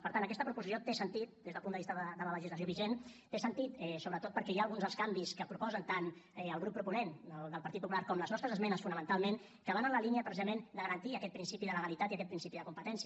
per tant aquesta proposició té sentit des del punt de vista de la legislació vigent té sentit sobretot perquè hi ha alguns dels canvis que proposen tant el grup proponent del partit popular com les nostres esmenes fonamentalment que van en la línia precisament de garantir aquest principi de legalitat i aquest principi de competència